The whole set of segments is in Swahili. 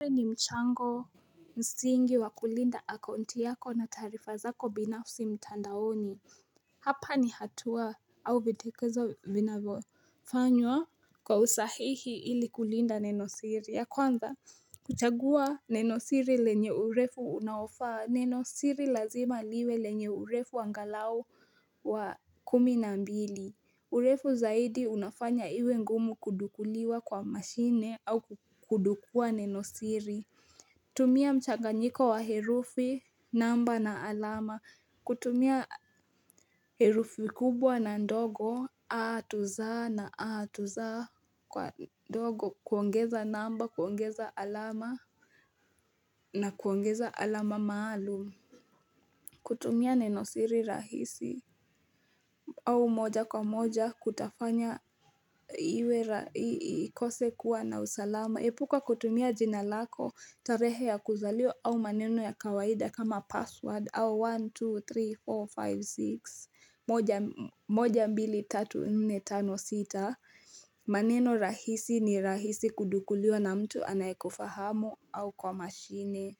Uwe ni mchango msingi wa kulinda akaunti yako na taarifa zako binafsi mtandaoni hapa ni hatua au videkezo viinavyofanywa kwa usahihi ili kulinda nenosiri ya kwanza kuchagua nenosiri lenye urefu unaofaa nenosiri lazima liwe lenye urefu angalau wa kumi na mbili urefu zaidi unafanya iwe ngumu kudukuliwa kwa mashine au kudukua nenosiri tumia mchanganyiko wa herufi, namba na alama kutumia herufi kubwa na ndogo, atuza na atuza kwa ndogo kuongeza namba, kuongeza alama na kuongeza alama maalum kutumia nenosiri rahisi au moja kwa moja kutafanya iwe ikose kuwa na usalama Epuka kutumia jina lako tarehe ya kuzaliwa au maneno ya kawaida kama password au 123456 moja mbili tatu nne tano sita maneno rahisi ni rahisi kudukuliwa na mtu anayekufahamu au kwa mashine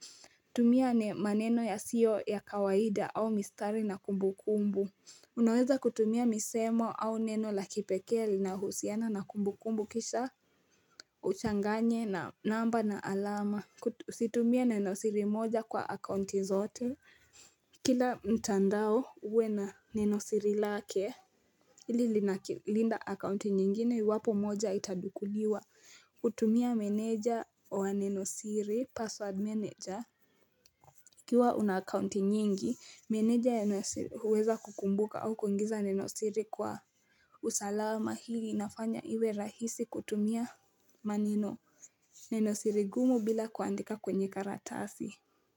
tumia maneno yasio ya kawaida au mistari na kumbu kumbu Unaweza kutumia misemo au neno la kipekee linahusiana na kumbu kumbu kisha uchanganye na namba na alama husitumie nenosiri moja kwa akaunti zote Kila mtandao uwe na nenosiri lake ili linakilinda akaunti nyingine iwapo moja itadukuliwa kutumia meneja wa nenosiri password manager ukiwa una akaunti nyingi, meneja yanasiri uweza kukumbuka au kuingiza nenosiri kwa usalama hili inafanye iwe rahisi kutumia maneno, nenosiri gumu bila kuandika kwenye karatasi.